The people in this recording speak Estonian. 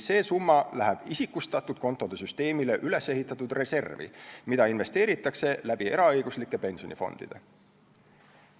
See summa läheb isikustatud kontode süsteemile ehitatud reservi, mida investeeritakse läbi eraõiguslike pensionifondide.